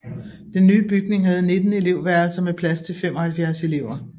Den nye bygning havde 19 elevværelser med plads til 75 elever